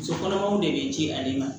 Muso kɔnɔmaw de be ji ale ma